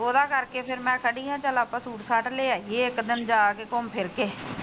ਉਹਦਾ ਕਰਕੇ ਫਿਰ ਮੈ ਖੜੀ ਆ ਚੱਲ ਆਪਾ ਸੂਟ ਸਾਟ ਲੈ ਆਈਏ ਇੱਕ ਦਿਨ ਜਾਕੇ ਘੁੰਮ ਫਿਰ ਕੇ।